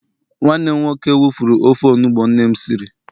nwanne m nwoke wufurru ofe onugbu nnem Siri